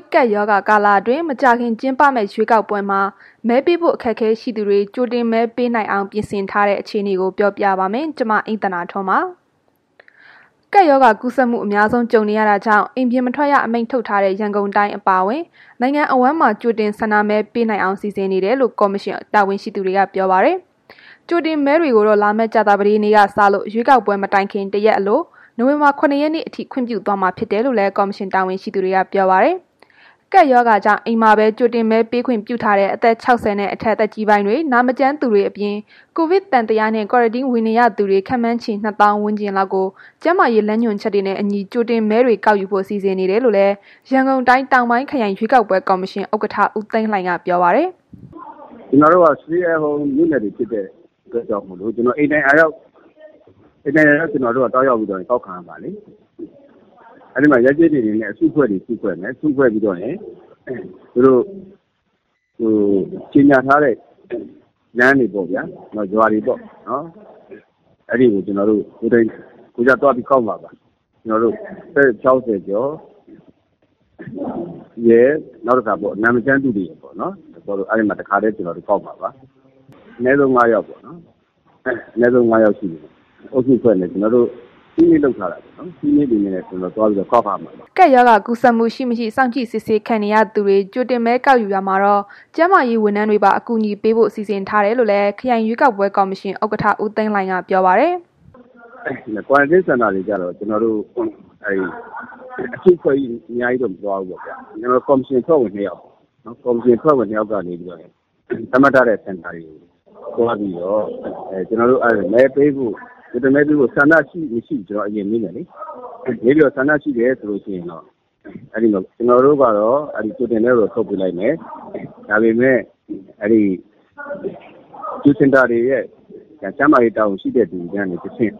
်ကပ်ရောဂါကာလ မကြာခင်ကျင်းပမယ့် ရွေးကောက်ပွဲမှာ မဲပေးဖို့ အခက်အခဲရှိသူတွေ ကြိုတင်မဲပေးနိုင်အောင် ပြင်ဆင်ထားတဲ့ အခြေအနေကို ပြောပြပါမယ်။ ဗွီအိုအေမြန်မာပိုင်းသတင်းထောက် မအိမ့်သန္တာထွန်းက ပြောပြပါမယ်။ ကပ်ရောဂါကူးစက်မှု အများဆုံးကြုံနေရာတာကြောင့် အိမ်ပြင်မထွက်ရ အမိန့်ထုတ်ထားတဲ့ ရန်ကုန်တိုင်း အပါအဝင် နိုင်ငံအဝန်းမှာ ကြိုတင်ဆန္ဒမဲ ပေးနိုင်အောင် စီစဉ်နေတယ်လို့ ကော်မရှင် တာဝန်ရှိသူတွေက ပြောပါတယ်။ ကြိုတင်မဲတွေကိုတော့ လာမယ့်ကြာသပတေးနေ့ကစလို့ ရွေးကောက်ပွဲမတိုင်ခင် ၁ ရက်အလို နိုဝင်ဘာလ ၇ ရက်နေ့အထိ ခွင့်ပြုသွားမှာ ဖြစ်တယ်လို့လည်း ကော်မရှင် တာဝန်ရှိသူတွေက ပြောပါတယ်။ ကပ်ရောဂါကြောင့် အိမ်မှာပဲ ကြိုတင်မဲပေးခွင့်ပြုထားတဲ့ အသက် ၆၀ နဲ့အထက် သက်ကြီးပိုင်းတွေ၊ နာမကျန်းသူတွေအပြင်၊ ကိုဗစ်သံသယနဲ့ Quarantine ဝင်နေရသူ ခန့်မှန်းခြေ ၂ သောင်း ဝန်းကျင်လောက်ကို ကျန်းမာရေး လမ်းညွှန်ချက်တွေနဲ့အညီ ကြိုတင်မဲတွေ ကောက်ယူဖို့ စီစဉ်ထားတယ်လို့လည်း ရန်ကုန်တိုင်း၊ တောင်ပိုင်းခရိုင်ကော်မရှင်ဥက္ကဋ္ဌ ဦးသိန်းလှိုင်က ပြောပါတယ်။ “ကျနော်တို့က Stay at Home မြို့နယ်တွေဖြစ်တဲ့အတွက်ကြောင့်မို့လို့ အိမ်တိုင်ယာရောက် သွားပြီးတော့ ကောက်ပါတယ်။ အဲ့ဒီမှာ ရပ်ကျေးတွေအနေနဲ့ အစုအဖွဲ့တွေ စုဖွဲ့မယ်။ ပြီးရင် ကြေညာထားတဲ့ လမ်းတွေပေါ့ဗျာ၊ အဲ့ဒီကို ကျနော်တို့ ကိုယ်တိုင်ကိုယ်ကျ သွားပြီးတော့ ကျနော်တို့ ကောက်မှာပါ။ အသက် ၆၀ ကျော်ရယ်၊ နာမကျန်းဖြစ်သူရယ်ပေါ့၊ အဲ့ဒီမှာ ကျနော်တို့ တစ်ခါတည်း ကောက်မှာပါ။ အနည်းဆုံး ၅ ယောက်ပေါ့၊ အုပ်စုဖွဲ့မယ်။ ကျနော်တို့ စည်းမျဉ်းလုပ်ထားတယ်။ စည်းမျဉ်းတွေနဲ့ ကျနော်တို့ ကောက်ပါမယ် ခင်ဗျ။” ကပ်ရောဂါကူးစက်မှု ရှိ၊ မရှိ စောင့်ကြည့်စစ်ဆေးခံနေရသူတွေ ကြိုတင်မဲ ကောက်ယူရာမှာတော့ ကျန်းမာရေးဝန်ထမ်းတွေပါ အကူအညီပေးဖို့ စီစဉ်ထားတယ်လို့လည်း ခရိုင်ကော်မရှင်ဥက္ကဋ္ဌ ဦးသိန်းလှိုင်ကပြောပါတယ်။ “Quarantine Center တွေကျတော့ ကျနော်တို့က အစုအဖွဲ့လိုက်တော့ မသွားဘူးဗျ၊ ကော်မရှင် အဖွဲ့ဝင် ၂ ယောက်က နေပြီးတော့ သတ်မှတ်ထားတဲ့ အချိန်မှာ သွားပြီးတော့ ကြိုတင်မဲ ပေးဖို့ ဆန္ဒရှိမရှိဆိုတာ အရင် မေးမယ်လေ၊ ဆန္ဒရှိတယ်ဆိုရင် ကျနော်တို့ကတော့ ကြိုတင်မဲကိုတော့ ဆုတ်ပေးလိုက်မယ်လေ။ ဒါပေမဲ့ Q Center တွေရဲ့ ကျန်းမာရေး တာဝန်ရှိတဲ့သူတွေကနေ တဆင့်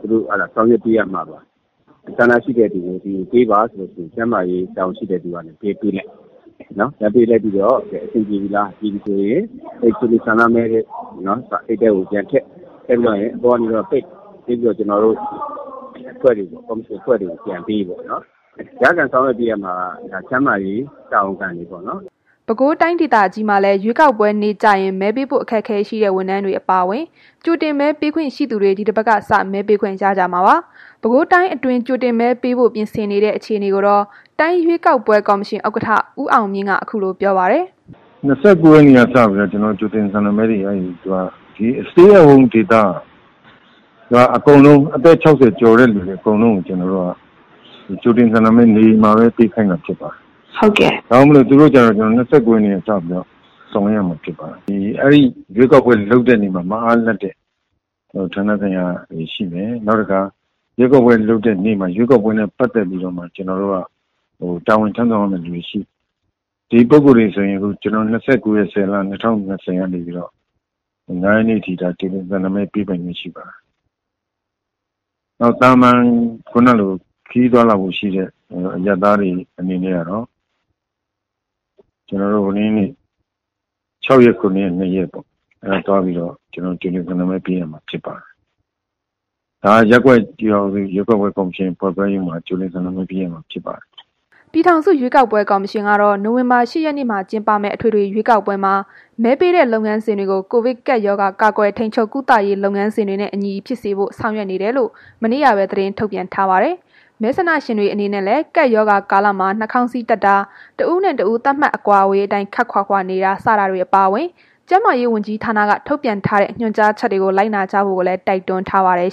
သူတို့ ဆောင်ရွက်ပေးရမှာပေါ့။ ဆန္ဒရှိတဲ့သူကို ပေးပါဆိုပြီး ကျန်းမာရေး တာဝန်ရှိတဲ့သူတွေက ပေးလိုက်မယ်၊ ပေးလိုက်ပြီးလို့ အဆင်ပြေပြီဆိုရင် ဆန္ဒမဲ ပေးတဲ့ အိတ်ထဲကို ပြန်ထည့်ပြီး ပိတ်ပြီးတော့ ကျနော်တို့ ကော်မရှင် အဖွဲ့တွေကို ပြန်ပေးပေါ့နော်။ လိုက်လံ ဆောင်ရွက်ပေးရမှာက ကျန်းမာရေး တာဝန်ခံတွေပေါ့နော်။” ပဲခူးတိုင်းမှာလည်း ရွေးကောက်ပွဲနေ့ကျရင် မဲပေးဖို့ အခက်အခဲရှိတဲ့ ဝန်ထမ်းတွေ အပါအဝင် ကြိုတင်မဲပေးခွင့် ရှိသူတွေ ဒီတပတ်ကစ မဲပေးခွင့် ရကြမှာပါ။ ပဲခူးတိုင်းအတွင်း ကြိုတင်မဲပေးဖို့ ပြင်ဆင်ထားတဲ့ အခြေအနေကိုတော့ တိုင်းရွေးကောက်ပွဲ ကော်မရှင်ဥက္ကဋ္ဌ ဦးအောင်မြင့်က ခုလိုပြောပါတယ်။ “၂၉ ရက်နေ့ကနေစပြီးတော့ ကြိုတင် ဆန္ဒမဲတွေက ဒီ Stay at Home ဒေသ အသက် ၆၀ ကျော်တဲ့ သူတွေ အကုန်လုံးကို ကြိုတင်ဆန္ဒမဲ နေအိမ်မှာပဲ ပေးခိုင်းတာဖြစ်ပါတယ်။ ဒါကြောင့်မို့လို့ သူတို့ကို ၂၉ ရက်နေ့ကနေ စပြီး ဆောင်ရွက်ရမှာ ဖြစ်ပါတယ်။ အဲ့ဒီ ရွေးကောက်ပွဲ လုပ်တဲ့နေ့မှာ မအားလပ်တဲ့ ဌာနဆိုင်ရာတွေရှိမယ် နောက်တစ်ခါ ရွေးကောက်ပွဲလုပ်တဲ့ နေ့မှာ ရွေးကောက်ပွဲနဲ့ ပတ်သက်ပြီးတော့ တာဝန်ထမ်းဆောင်ရမယ့်သူတွေ သူတို့တွေကိုဆိုရင် ၂၉ ရက်၊ ၁၀ လ၊ ၂၀၂၀ ကနေ စပြီးတော့ ၅ ရက်နေ့အထိ ကြိုတင် ဆန္ဒမဲ ပေးပိုင်ခွင့်ရှိပါတယ်။ နောက် သာမာန် ခရီးသွားလာဖို့ ရှိတဲ့ အရပ်သားတွေ အနေနဲ့ကတော့ ၆ ရက်နဲ့ ၇ ရက်၊ နှစ်ရက်ပေါ့။ ကြိုတင် ဆန္ဒမဲ ပေးရမှာဖြစ်ပါတယ်။ ဒါက ရပ်ကွက် ကျေးရွာ ရွေးကောက်ပွဲ ကော်မရှင် အဖွဲ့ခွဲ ရုံးတွေမှာ ပေးရမှာဖြစ်ပါတယ်။” ပြည်ထောင်စု ရွေးကောက်ပွဲ ကော်မရှင်ကတော့ နိုဝင်ဘာ ၈ ရက်နေ့မှာ ကျင်းပမယ့် အထွေထွေရွေးကောက်ပွဲမှာ မဲပေးတဲ့ လုပ်ငန်းစဉ်တွေကို ကိုဗစ်ကပ်ရောဂါ ကာကွယ်ထိန်းချုပ် ကုသရေးလုပ်ငန်းစဉ်တွေနဲ့ အညီ ဖြစ်စေဖို့ ဆောင်ရွက်နေတယ်လို့ မနေ့ကပဲ သတင်းထုတ်ပြန်ထားပါတယ်။ မဲဆန္ဒရှင်တွေ အနေဖြင့်လည်း ကပ်ရောဂါကာလမှာ နှာခေါင်းစည်းတပ်တာ၊ တစ်ဦးနဲ့ တစ်ဦး သတ်မှတ်အကွာအဝေးအတိုင်း ခပ်ခွာခွာနေတာ စတာတွေ အပါအဝင် ကျန်းမာရေးဝန်ကြီးဌာနက ထုတ်ပြန်ထားတဲ့ ညွှန်ကြားချက်တွေကို လိုက်နာကြဖို့လည်း တိုက်တွန်းထားပါတယ်